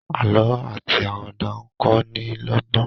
àlọ ati Àwàdà nkọ ní lógbón.